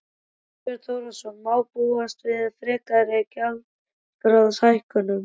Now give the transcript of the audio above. Þorbjörn Þórðarson: Má búast við frekari gjaldskrárhækkun?